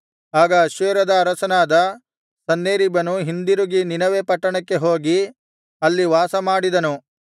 ಆಗ ಅಶ್ಶೂರ್ಯರ ಅರಸನಾದ ಸನ್ಹೇರೀಬನು ಹಿಂದಿರುಗಿ ನಿನೆವೆ ಪಟ್ಟಣಕ್ಕೆ ಹೋಗಿ ಅಲ್ಲಿ ವಾಸಮಾಡಿದನು